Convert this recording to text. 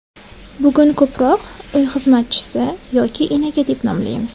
Bugun ko‘proq uy xizmatchisi yoki enaga deb nomlaymiz.